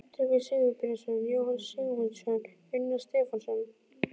Tryggvi Sigurbjarnarson, Jóhannes Sigmundsson, Unnar Stefánsson